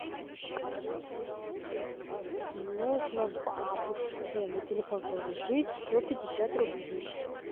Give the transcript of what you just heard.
нужно бабушке на телефон положить сто пятьдесят рублей